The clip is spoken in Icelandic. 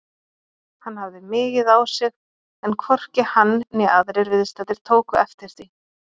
Hann hafði migið á sig en hvorki hann né aðrir viðstaddir tóku eftir því.